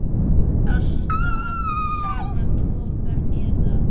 Ást af sama toga eða